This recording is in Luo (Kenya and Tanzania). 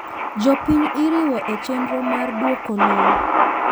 Jopiny iriwo echenro mar duoko lowo.